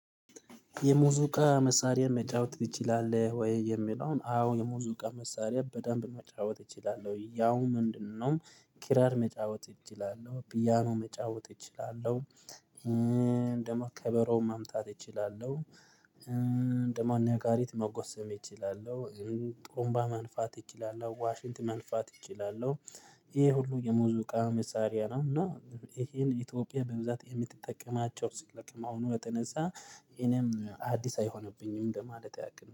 የሙዚቃ መሳሪያ መጫወት ትችላለሁ ወይ? የሚለውን አዎ የሙዚቃ መሳሪያ በደንብ መጫወት እችላለሁ። ያው ምንድነው? ኪራር መጫወት እችላለሁ፣ ፒያኖ መጫወት እችላለሁ፣ ደግሞ ከበሮ ማምታት እችላለሁ። ደግሞ ነጋሪት መጎሰም እችላለሁ። ጥሩምባ መንፋት እችላለሁ። ዋሽንት መንፋት እችላለሁ። ይሄ ሁሉ የሙዚቃ መሳሪያ ነው እና ይሄን ኢትዮጵያ በብዛት የምትጠቀማቸው ሰለመሆኑ የተነሳ እኔም አዲስ አይሆንብኝም ለማለት ያክል ነው።